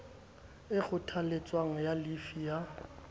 e kgothaletswang ya llifi ya